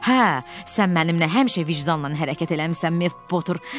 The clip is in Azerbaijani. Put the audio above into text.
Hə, sən mənimlə həmişə vicdanla hərəkət eləmisən, Mev Potter.